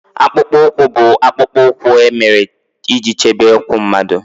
Akpụkpọ ụkwụ bụ akpụkpọ ụkwụ e mere iji chebe ụkwụ mmadụ